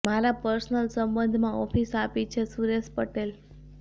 મારાં પર્સનલ સંબંધમાં ઓફિસ આપી છે ઃ સુરેશ પટેલ